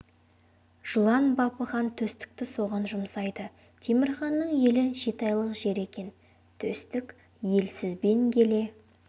жылан бапы хан төстікті соған жұмсайды темір ханның елі жеті айлық жер екен төстік елсізбен келе